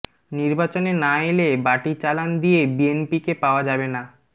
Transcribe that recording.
নির্বাচনে না এলে বাটি চালান দিয়ে বিএনপিকে পাওয়া যাবে না